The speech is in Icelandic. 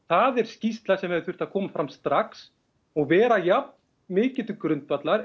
það er skýrsla sem hefði þurft að koma fram strax og vera jafn mikið til grundvallar